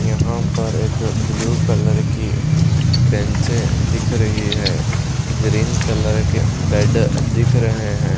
यहां पर एक ब्लू कलर की बेंचे दिख रही है ग्रीन कलर के बेड दिख रहे हैं।